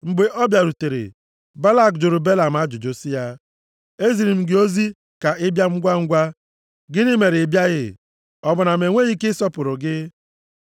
Mgbe ọ bịarutere, Balak jụrụ Belam ajụjụ sị ya, “Eziri m gị ozi ka ị bịa ngwangwa, gịnị mere ị bịaghị? Ọ bụ na m enweghị ike ịsọpụrụ gị?”